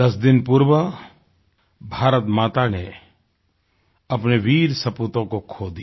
10 दिन पूर्व भारतमाता ने अपने वीर सपूतों को खो दिया